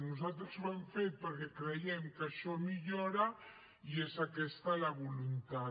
nosaltres ho hem fet perquè creiem que això millora i és aquesta la voluntat